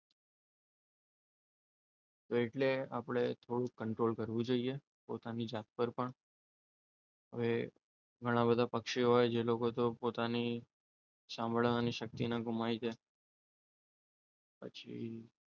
એટલે આપણે થોડું control કરવું જોઈએ પોતાની જાત પર પણ. હવે ઘણા બધા પક્ષીઓ હોય જે લોકો પોતાની સાંભળવાની શક્તિને ગુમાવી દે પછી